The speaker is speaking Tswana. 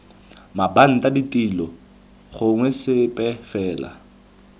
mabanta ditilo gongwe sepe fela